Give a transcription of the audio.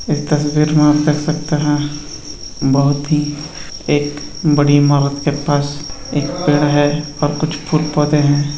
इस तस्वीर में आप देख सकते है। बहुत ही एक बड़ी इमारत के पास एक पेड़ है। कुछ फूल पौधे हैं।